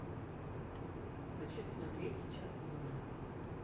хочу смотреть сейчас юность